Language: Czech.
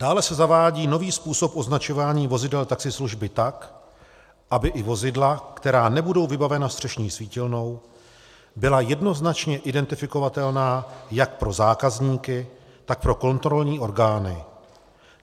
Dále se zavádí nový způsob označování vozidel taxislužby tak, aby i vozidla, která nebudou vybavena střešní svítilnou, byla jednoznačně identifikovatelná jak pro zákazníky, tak pro kontrolní orgány.